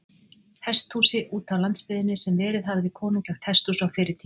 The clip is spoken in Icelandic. Hesthúsi útá landsbyggðinni, sem verið hafði konunglegt hesthús á fyrri tíð.